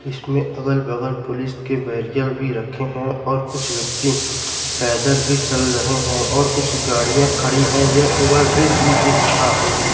इसमें अगल बगल पुलिस के बेरियल भी रखे हैं और कुछ व्यक्ति पैदल भी चल रहे हैं और कुछ गाड़ियां खड़ी हैं ये ओवर ब्रिज भी दिख रहा है।